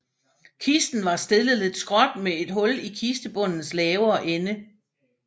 Kisten var stillet lidt skråt med et hul i kistebundens lavere ende